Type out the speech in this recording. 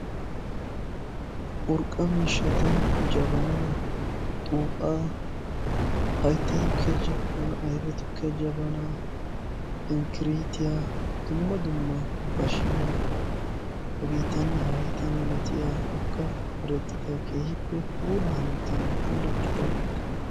Urqqa miishshata jabaana, xu'aa, haytta tuukkiya jabaana, ayfe tuukkiya jabaana, inkkiritiyaa, dumma dumma bashiyaa, hagetaane hagetaa milaatiya urqqape merettida keehippe puula hanottan puulattidageeta.